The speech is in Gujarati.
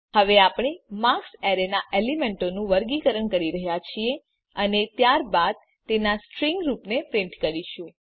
હવે આપણે માર્ક્સ એરેનાં એલીમેન્તોનું વર્ગીકરણ કરી રહ્યા છીએ અને ત્યારબાદ તેના સ્ટ્રીંગ રૂપને પ્રીંટ કરીશું